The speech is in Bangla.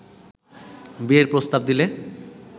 বিয়ের প্রস্তাব দিলে